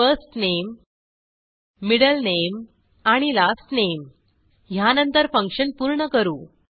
first name middle name आणि last name ह्यानंतर function पूर्ण करू